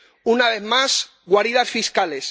Una vez más, guaridas fiscales.